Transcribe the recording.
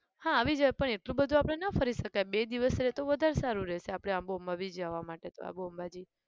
હા આવી જવાય પણ એટલું બધું આપણે ના ફરી શકીએ બે દિવસ રહે તો વધારે સારું રહશે. આપણે આબુ અંબાજી જવામાં માટે તો આબુ અંબાજી